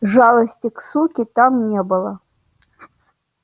жалости к суке там не было